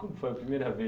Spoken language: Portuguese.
Como foi a primeira vez?